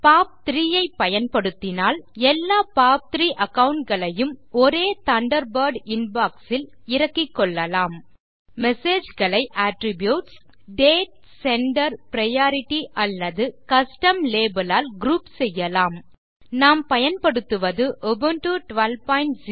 பாப்3 ஐ பயன்படுத்தினால் எல்லா பாப்3 அகாவுண்ட் களையும் ஒரே தண்டர்பர்ட் இன்பாக்ஸ் இல் இறக்கிக்கொள்ளலாம் மெசேஜ் களை அட்ரிபியூட்ஸ் டேட் செண்டர் பிரையாரிட்டி அல்லது கஸ்டம் லேபல் ஆல் குரூப் செய்யலாம் நாம் பயன்படுத்துவது உபுண்டு 1204